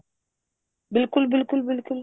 ਬਿਲਕੁਲ ਬਿਲਕੁਲ ਬਿਲਕੁਲ